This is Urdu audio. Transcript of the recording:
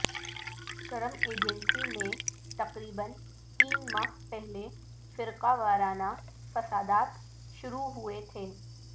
کرم ایجنسی میں تقریبا تین ماہ پہلے فرقہ وارانہ فسادات شروع ہوئے تھے